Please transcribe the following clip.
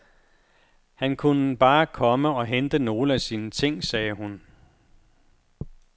Han kunne bare komme og hente nogle af sine ting, sagde hun.